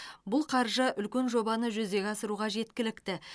бұл қаржы үлкен жобаны жүзеге асыруға жеткілікті